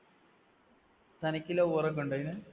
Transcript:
തനിക്ക് lover ഒക്കെ ഉണ്ടോ അതിന്